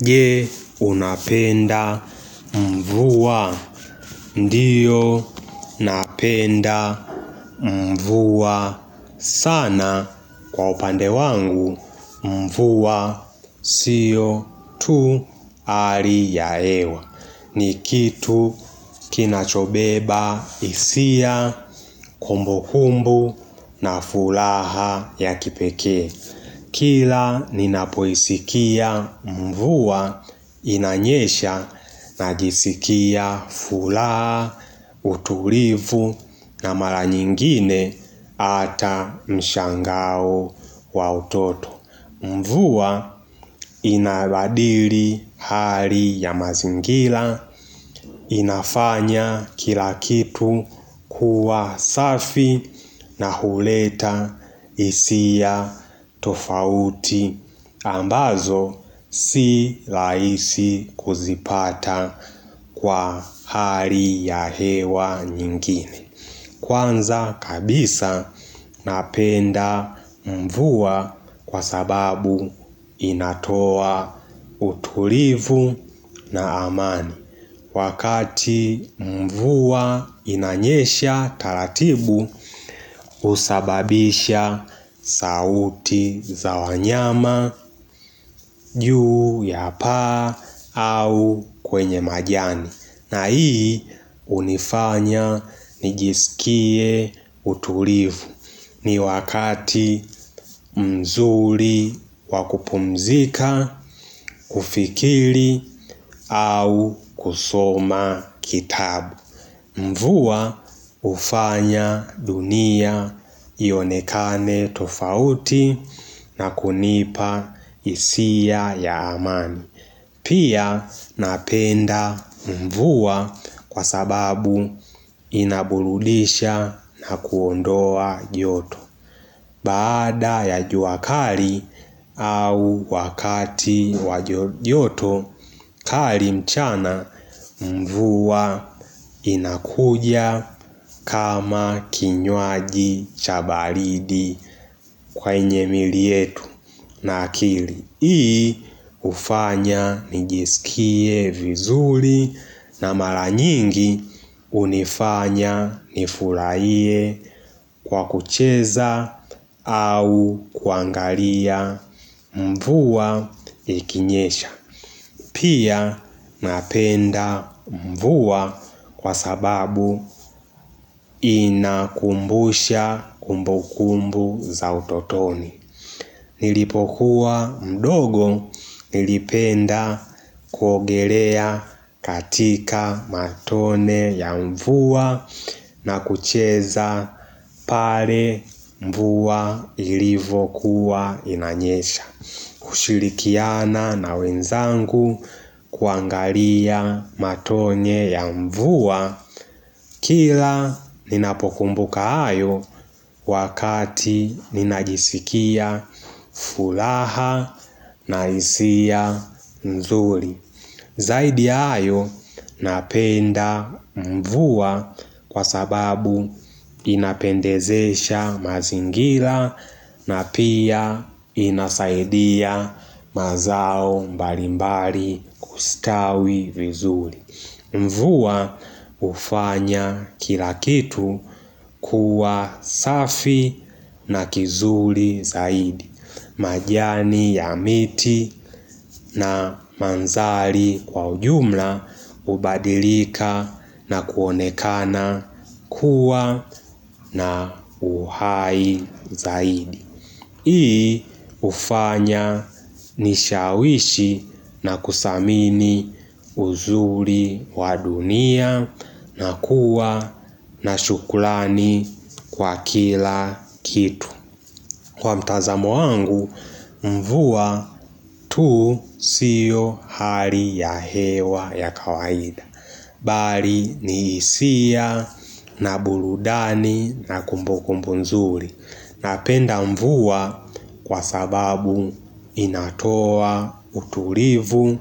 Je, unapenda, mvua, ndio, napenda, mvuwa, sana, kwa upande wangu, mvua, siyo, tu, hali ya hewa ni kitu, kinachobeba, hisia, kumbu kumbu, na furaha ya kipekee Kila ninapoisikia mvua inanyesha na jisikia furaha, utulivu na mara nyingine ata mshangao wa utoto. Mvuwa inabadiri hali ya mazingila inafanya kila kitu kuwa safi na huleta hisia tofauti ambazo si rahisi kuzipata kwa hali ya hewa nyingine. Kwanza kabisa napenda mvua kwa sababu inatoa utulivu na amani Wakati mvua inanyesha taratibu husababisha sauti za wanyama juu ya paa au kwenye majani. Na hii unifanya nijisikie utulivu ni wakati mzuri wakupumzika, kufikiri au kusoma kitabu. Mvuwa hufanya dunia ionekane tofauti na kunipa hisia ya amani. Pia napenda mvua kwa sababu inaburudisha na kuondoa joto Baada ya juakali au wakati wa joto kali mchana mvua inakuja kama kinywaji cha balidi kwenye mili yetu na akili hii hufanya nijiskie vizuri na mara nyingi hunifanya nifurahie kwa kucheza au kuangalia mvua ikinyesha Pia napenda mvua kwa sababu inakumbusha kumbukumbu za utotoni Nilipokuwa mdogo nilipenda kuogelea katika matone ya mvua na kucheza pale mvua ilivokuwa inanyesha. Kushirikiana na wenzangu kuangalia matone ya mvua Kila ninapokumbuka hayo wakati ninajisikia furaha na hisia nzuri. Zaidi ya hryo napenda mvua kwa sababu inapendezesha mazingira na pia inasaidia mazao mbalimbali kustawi vizuri mvua hufanya kila kitu kuwa safi na kizuri zaidi majani ya miti na manzali kwa ujumla hubadilika na kuonekana kuwa na uhai zaidi Hii hufanya nishawishi na kusamini uzuri wa dunia na kuwa na shukrani kwa kila kitu Kwa mtazamo wangu mvua tu siyo hali ya hewa ya kawaida. Bali ni hisia na burudani na kumbu kumbu nzuri Napenda mvua kwa sababu inatoa utulivu,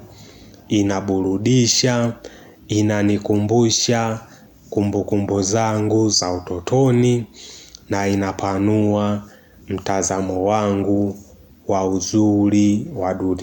inaburudisha, inanikumbusha kumbukumbu zangu za utotoni na inapanua mtazamo wangu wa uzuri wa duri.